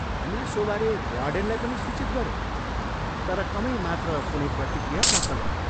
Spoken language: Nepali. हामीले सोबारे वार्डेनलाई पनि सूचित गऱ्यौँ तर कमै मात्र कुनै प्रतिक्रिया प्राप्त गऱ्यौँ।